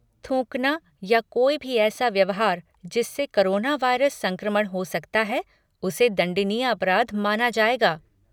थूकना या कोई भी ऐसा व्यवहार जिससे कोरोना वायरस संक्रमण हो सकता है, उसे दण्डनीय अपराध मना जाएगा।